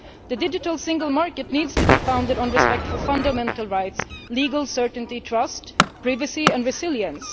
The digital single market needs to be founded on respect for fundamental rights, legal certainty, trust, privacy and resilience.